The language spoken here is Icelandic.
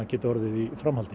geti orðið í framhaldi